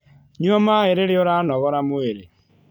Nyua maĩ rĩrĩa ũranogora mwĩrĩ